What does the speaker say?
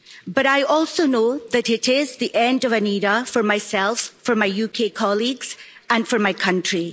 But I also know that it is the end of an era for myself, for my UK colleagues and for my country.